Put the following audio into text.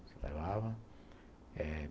Eu levava eh